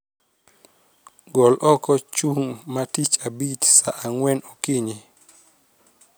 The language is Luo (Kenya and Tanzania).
Gol oko chung' ma tich abich saa ang'wen okinyi